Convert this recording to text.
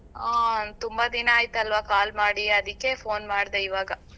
ಹ್ಮ್ ತುಂಬಾ ದಿನ ಆಯ್ತಲ್ವ call ಮಾಡಿ ಅದಿಕ್ಕೆ phone ಮಾಡ್ದೆ ಇವಾಗ.